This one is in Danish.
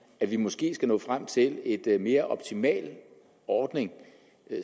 at vi måske skal nå frem til en mere optimal ordning